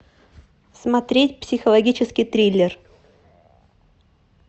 смотреть психологический триллер